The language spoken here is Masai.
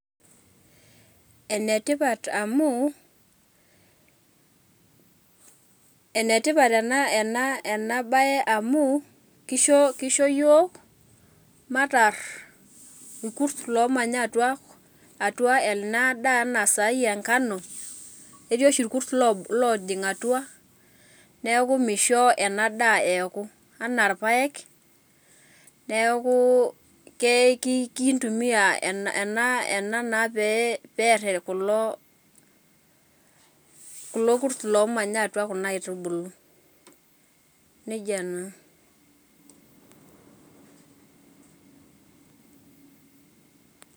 Enetipat amu, enetipat enabae amu, kisho yiok matar inkurs lomanya atua ena daa enasai enkano, ketii oshi irkus lojing atua neeku misho ena daa eeku. Enaa irpaek, neeku kintumia ena pee per kulo, kulo kurs lomanya atua kuna aitubulu. Nejia naa.